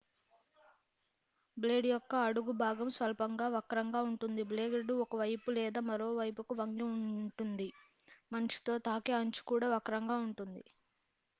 blade యొక్క అడుగు భాగం స్వల్పంగా వక్రంగా ఉంటుంది బ్లేడ్ ఒకవైపులేదా మరోవైపువైపుకు వంగిఉంటుంది మంచుతో తాకే అంచు కూడా వక్రంగా ఉంటుంది